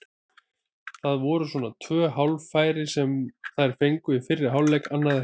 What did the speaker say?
Það voru svona tvö hálffæri sem þær fengu í fyrri hálfleik, annað ekki.